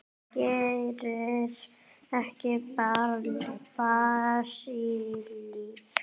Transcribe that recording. Gerir ekki Brasilía það alltaf?